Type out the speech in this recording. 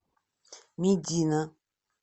медина